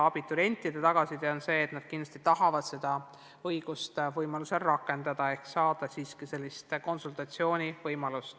Abiturientide tagasiside on olnud selline, et nad kindlasti tahavad seda õigust võimaluse korral rakendada ja saada konsultatsiooni.